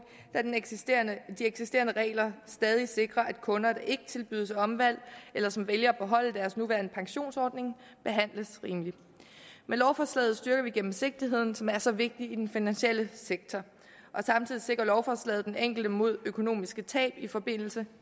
da de eksisterende regler stadig sikrer at kunder der ikke tilbydes omvalg eller som vælger at beholde deres nuværende pensionsordning behandles rimeligt med lovforslaget styrker vi gennemsigtigheden som er så vigtig i den finansielle sektor og samtidig sikrer lovforslaget den enkelte mod økonomiske tab i forbindelse